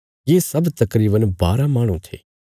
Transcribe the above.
ये सब तकरीवन बारा माहणु थे